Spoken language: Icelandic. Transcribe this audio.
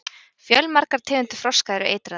fjölmargar tegundir froska eru eitraðar